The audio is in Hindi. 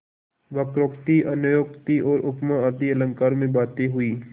वक्रोक्ति अन्योक्ति और उपमा आदि अलंकारों में बातें हुईं